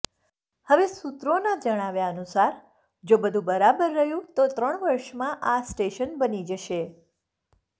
હવે સૂત્રોના જણાવ્યા અનુસાર જો બધુ બરાબર રહ્યું તો ત્રણ વર્ષમાં આ સ્ટેશન બની જશે